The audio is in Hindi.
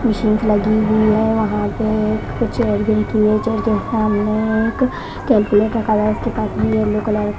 मशीन स लगी हुई है वहां पे कुछ जो सामने एक का कार्यालय इसके पास में ए येलो कलर --